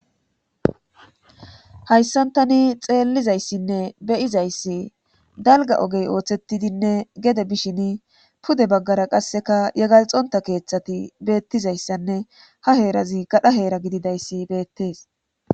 hayssantani xeellizayssinne beyizayssi dalga ogey ooththettidinne gede bishin pude baggara qasseka yagalxonta keeththati beettizayssanne ha heerazi gadha heera gididayssi beettees